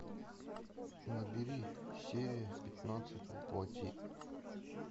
набери серия пятнадцать во плоти